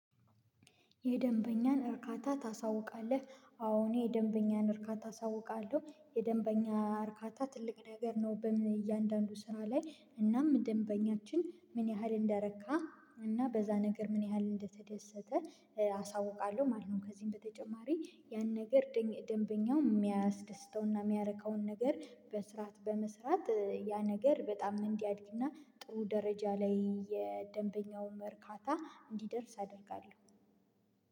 የደንበኛን እርካታ ታሳውቃለህ? አዎ እኔ የደንበኛን እርካታ አሳውቃለሁ የደንበኛ እርካታ ትልቅ ነገር ነው። በእያንዳንዱ ስራ ላይ እናም ደንበኛችን ምን ያህል እንደረካ እና በዛ ነገር ምን ያህል እንደተደሰተ አሳውቃለሁ ማለት ነው። ከዚህም በተጨማሪ ያን ነገር ደንበኛው የሚያስደስተውና የሚያረካው ነገር በስርዓት በመስራት ያ ነገር በጣም እንዲያድግና ጥሩ ደረጃ ላይ የደንበኛውን እርካታ እንዲደርስ አደርጋለሁ።